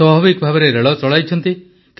ସ୍ୱାଭାବିକ ଭାବେ ରେଳ ଚଳାଇଛନ୍ତି